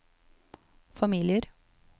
familier